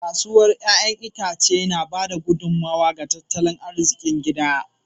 Kasuwar 'ya'yan itace na ba da gudummawa ga tattalin arzikin gida.